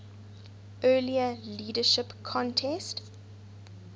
earlier leadership contest